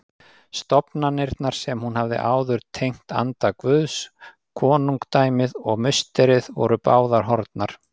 Stofnanirnar sem hún hafði áður tengt anda Guðs, konungdæmið og musterið, voru báðar horfnar.